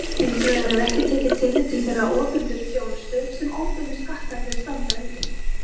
Hins vegar er ekki tekið tillit til þeirrar opinberu þjónustu sem óbeinu skattarnir standa undir.